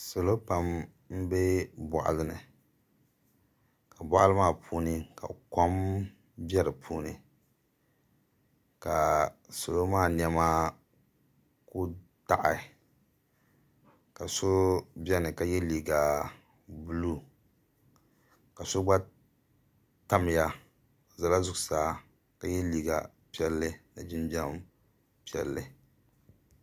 Salo pam n bɛ boɣali ni ka boɣali maa puuni ka kom bɛ di puuni ka salo maa niɛma ku daɣi ka so biɛni ka yɛ liiga buluu ka so gba tamya o ʒɛla zuɣusaa ka yɛ liiga piɛlli ni jinjɛm piɛlli